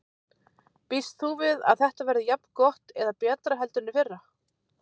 Býst þú við að þetta verði jafn gott eða betra heldur en í fyrra?